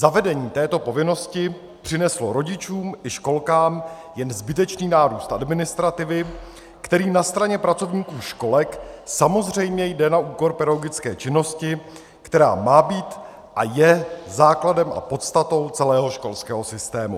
Zavedení této povinnosti přineslo rodičům i školkám jen zbytečný nárůst administrativy, který na straně pracovníků školek samozřejmě jde na úkor pedagogické činnosti, která má být a je základem a podstatou celého školského systému.